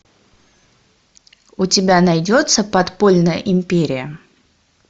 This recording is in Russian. у тебя найдется подпольная империя